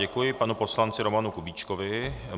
Děkuji panu poslanci Romanu Kubíčkovi.